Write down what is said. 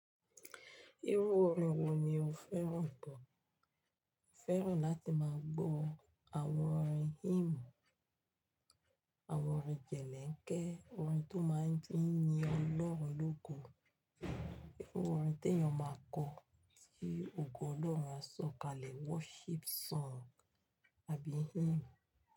Irú orin wo ni o fẹ́ràn tó? Mo fẹ́ràn láti máa gbọ́ àwọn orin hymn, àwọn orin jẹ̀lẹ́ńkẹ́, orin tó máa ń yin ọlọ́run lógo. Irú orin tí èèyàn máa kọ, tí ògo Ọlọ́run á sọ̀kalẹ̀ worship song àbí hymn.